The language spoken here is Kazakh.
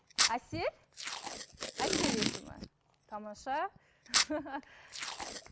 әсел әсел есімі тамаша